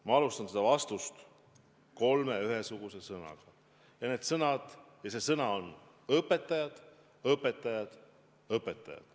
Ma alustan seda vastust kolme ühe ja sama sõnaga, ja see sõna on: õpetajad, õpetajad, õpetajad.